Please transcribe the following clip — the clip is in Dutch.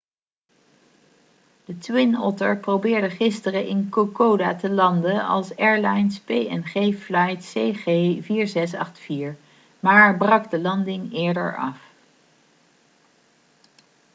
de twin otter probeerde gisteren in kokoda te landen als airlines png flight cg4684 maar brak de landing eerder af